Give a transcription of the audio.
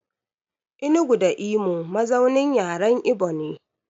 Enugu da Imo mazaunin yaren Ibo ne.